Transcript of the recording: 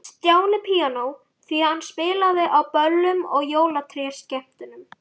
Stjáni píanó, því hann spilaði á böllum og jólatrésskemmtunum.